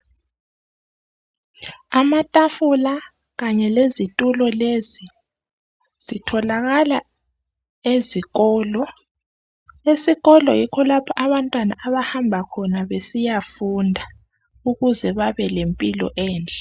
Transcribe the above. Amatafula kanye lezitulo lezi zitholakala ezikolo. Esikolo yikho lapho abantwana abahamba khona besiyafunda ukuze babe lempilo enhle.